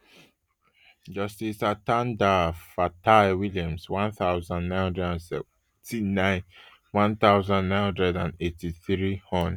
justice atanda fataiwilliams one thousand, nine hundred and seventy-nine one thousand, nine hundred and eighty-three hon